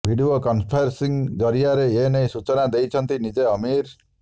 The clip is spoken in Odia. ଭିଡିଓ କନ୍ଫରେନ୍ସିଂ ଜରିଆରେ ଏନେଇ ସୂଚନା ଦେଇଛନ୍ତି ନିଜେ ଅମୀର